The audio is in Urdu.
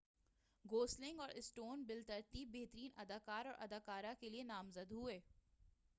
گوسلنگ اور سٹون بالترتیب بہترین اداکار اور اداکارہ کیلئے نامزد ہوئے